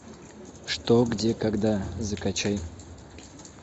что где когда закачай